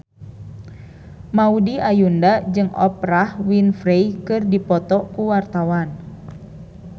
Maudy Ayunda jeung Oprah Winfrey keur dipoto ku wartawan